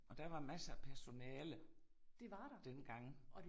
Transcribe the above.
Og der var masser af personale dengang